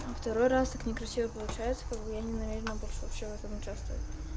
а второй раз так некрасиво получается как я не намерена вообще в этом участвовать